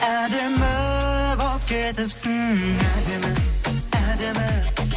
әдемі боп кетіпсің әдемі әдемі